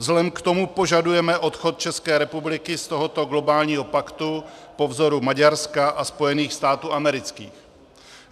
Vzhledem k tomu požadujeme odchod České republiky z tohoto globálního paktu po vzoru Maďarska a Spojených států amerických.